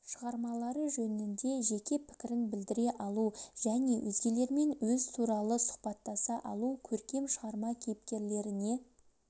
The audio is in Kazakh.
шығармалары жөнінде жеке пікірін білдіре алу және өзгелермен өз туралы сұхбаттаса алу көркем шығарма кейіпкерлеріне